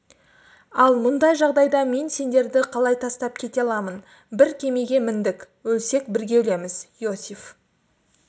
ал мұндай жағдайда мен сендерді қалай тастап кете аламын бір кемеге міндік өлсек бірге өлеміз иосиф